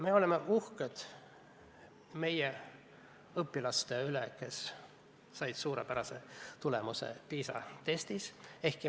Me oleme uhked meie õpilaste üle, kes said suurepärase tulemuse PISA testis.